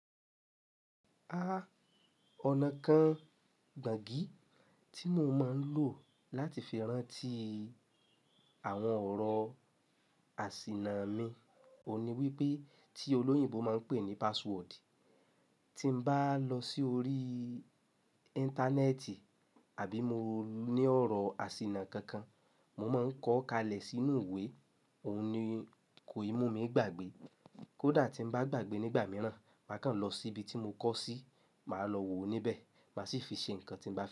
A, ọ̀nà kan gbàǹgì tí mo máa ń lò láti fi rántí àwọn ọ̀rọ̀ àsìnà mi òun ni wípé tí olóyìnbo máa ń pè ní password. Tí mo bá lọ sí orí íńtánẹ́ẹ̀tì àbí mo ní ọ̀rọ̀ àsìnà kankan mo máa ń kọ́ kalẹ̀ sínú ìwé òun ni ko imú mi gbàgbé. Kódà tí mo bá gbàgbé nígbà mìíràn máa kàn lọ síbi tí mo kọ́ sí, màá lọ wo òun níbẹ̀ máa sì fi ṣe ǹkan tí mo bá lọ.